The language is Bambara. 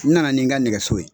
N nana ni n ka nɛgɛso ye.